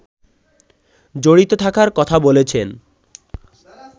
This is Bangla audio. জড়িত থাকার কথা বলেছেন